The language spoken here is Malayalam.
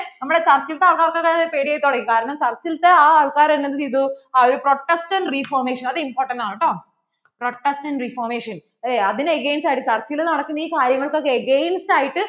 നമ്മള്‍ടെ church ലത്തെ ആൾക്കാര്‍ക്കൊക്കെ പേടി ആയി തുടങ്ങി കാരണം church ലത്തെ ആ ആൾകാർ എന്ത് ചെയ്തു ആ ഒരു protection reformation അതു important ണ് കേട്ടോ protection reformation അതിനു against ആയിട്ടു church നടക്കുന്ന ഈ കാര്യങ്ങള്‍ക്ക് against ആയിട്ട്